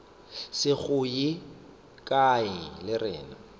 se go ye kae rena